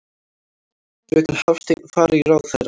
Fröken Hafstein fari í ráðherrann.